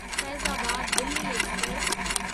Faizabad Delhi express